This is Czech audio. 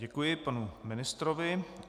Děkuji panu ministrovi.